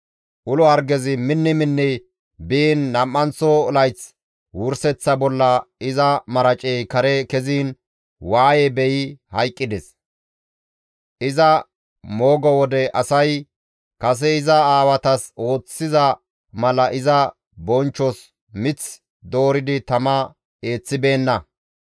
Ulo hargezi minni minni biin nam7anththo layth wurseththa bolla iza maracey kare keziin waaye beyi hayqqides; iza moogo wode asay kase iza aawatas ooththiza mala iza bonchchos mith dooridi tama eeththibeenna.